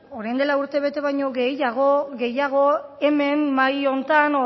orain dela urtebete baino gehiago hemen mahai honetan